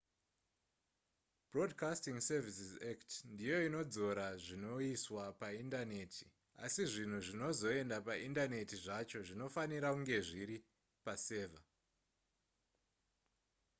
broadcasting services act ndiyo inodzora zvinoiswa paindaneti asi zvinhu zvinozoenda paindaneti zvacho zvinofanira kunge zviri pasevha